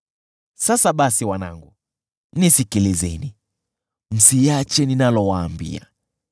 Sasa basi wanangu, nisikilizeni; msiache ninalowaambia.